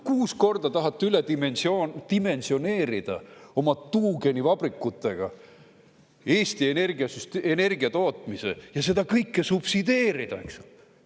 Kuus korda tahate üledimensioneerida oma tuugenivabrikutega Eesti energiatootmise ja seda kõike subsideerida!